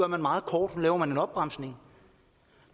meget kort nu laver man en opbremsning